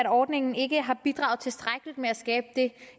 ordningen ikke har bidraget tilstrækkeligt med at skabe det